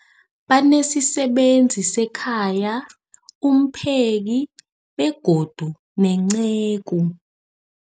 Banesisebenzi sekhaya, umpheki, begodu nenceku.